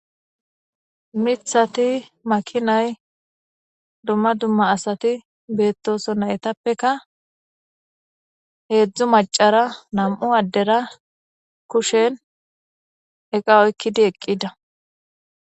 mithati makinay dumma dumma asati beettoso naytappeka heedzdzu macara nam7u addera kushen eqa oykkidi eqqida